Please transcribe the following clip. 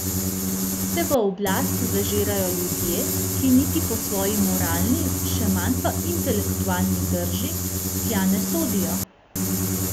Se v oblast zažirajo ljudje, ki niti po svoji moralni še manj pa intelektualni drži tja ne sodijo?